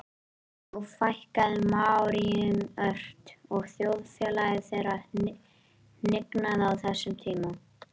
þó fækkaði maóríum ört og þjóðfélagi þeirra hnignaði á þessum tíma